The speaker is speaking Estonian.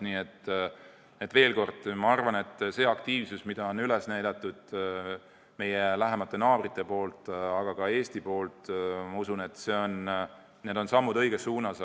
Nii et veel kord: see aktiivsus, mida on üles näidanud meie lähemad naabrid ja ka meie ise – ma usun, et need on sammud õiges suunas.